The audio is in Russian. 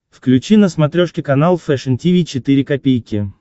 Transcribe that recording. включи на смотрешке канал фэшн ти ви четыре ка